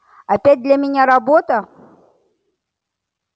опять для меня работа